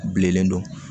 Bilennen don